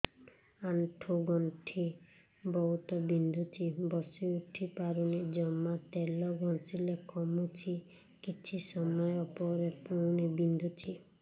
ଆଣ୍ଠୁଗଣ୍ଠି ବହୁତ ବିନ୍ଧୁଛି ବସିଉଠି ପାରୁନି ଜମା ତେଲ ଘଷିଲେ କମୁଛି କିଛି ସମୟ ପରେ ପୁଣି ବିନ୍ଧୁଛି